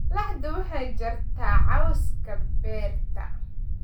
Laxdu waxay jartaa cawska beerta.